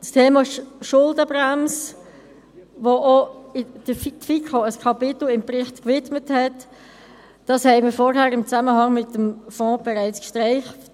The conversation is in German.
Das Thema der Schuldenbremse, der die FiKo auch ein Kapitel im Bericht widmete, haben wir im Zusammenhang mit dem Fonds bereits gestreift.